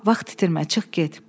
Amma vaxt itirmə, çıx get.